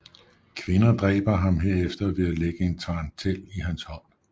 Kvinder dræber ham herefter ved at lægge en tarantel i hans hånd